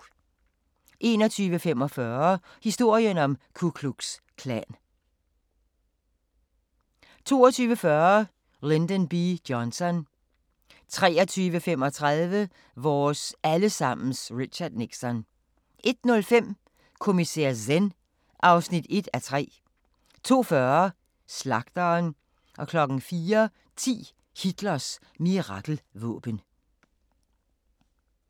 21:45: Historien om Ku Klux Klan 22:40: Lyndon B. Johnson 23:35: Vores alle sammens Richard Nixon 01:05: Kommissær Zen (1:3) 02:40: Slagteren 04:10: Hitlers mirakelvåben